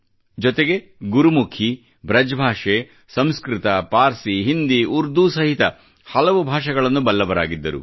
ಜೊತೆಗೆ ಗುರುಮುಖಿ ಬೃಜ್ ಭಾಷೆ ಸಂಸ್ಕೃತ ಪಾರ್ಸಿ ಹಿಂದಿ ಮತ್ತು ಉರ್ದು ಸಹಿತ ಹಲವು ಭಾಷೆಗಳನ್ನು ಬಲ್ಲವರಾಗಿದ್ದರು